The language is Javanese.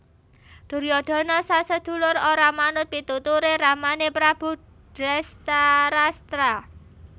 Duryudana sasedulur ora manut pituture ramane Prabu Drestarastra